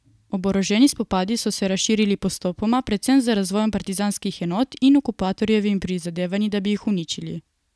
Oboroženi spopadi so se razširili postopoma, predvsem z razvojem partizanskih enot in okupatorjevimi prizadevanji, da bi jih uničili.